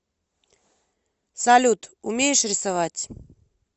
салют умеешь рисовать